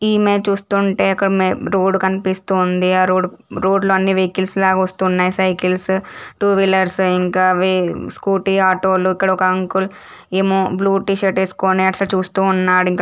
ఈ ఇమేజ్ చూస్తుంటే ఒక రోడ్ కనిపిస్తూ ఉంది. ఆ రోడ్ ఆ రోడ్ లని వెహికల్స్ లాగా వస్తున్నాయి. సైకిల్స్ టూ వీలర్స్ ఇంకా ఇవి స్కూటీ ఆటో లు. ఇక్కడ ఒక అంకుల్ ఏమో బ్లూ టీషర్ట్ వేసుకొని అటు చూస్తూ ఉన్నాడు. ఇక్కడ--